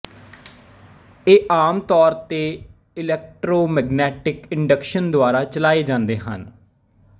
ਇਹ ਆਮ ਤੌਰ ਤੇ ਇਲੈਕਟ੍ਰੋਮੈਗਨੈਟਿਕ ਇੰਡਕਸ਼ਨ ਦੁਆਰਾ ਚਲਾਏ ਜਾਂਦੇ ਹਨ